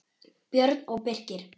Björn og Birkir.